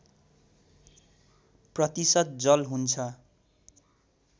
प्रतिशत जल हुन्छ